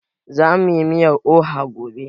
Zamu yi miyar oha gobe